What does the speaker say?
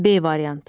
B variantı.